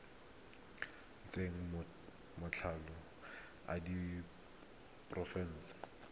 ntsha matlolo a diphenene le